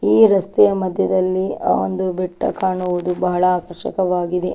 ಈ ರಸ್ತೆಯ ಮಧ್ಯದಲ್ಲಿ ಆ ಒಂದು ಬೆಟ್ಟ ಕಾಣುವುದು ಬಹಳ ಆಕರ್ಷಕವಾಗಿದೆ .